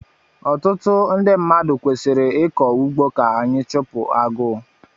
Ọtụtụ ndị mmadụ kwesịrị ịkọ ugbo ka anyị chupu agụụ